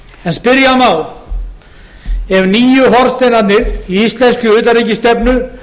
en spyrja má eru nýju hornsteinarnir í íslenskri utanríkisstefnu